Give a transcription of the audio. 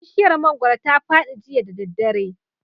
Bishiyar mangoro ta fadi jiya da daddare